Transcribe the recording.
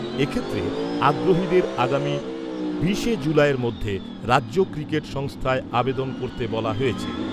এ ক্ষেত্রে আগ্রহীদের আগামী বিশে জুলাইয়ের মধ্যে রাজ্য ক্রিকেট সংস্থায় আবেদন করতে বলা হয়েছে।